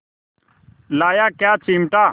लाया क्या चिमटा